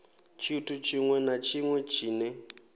tshithu tshiṅwe na tshiṅwe tshine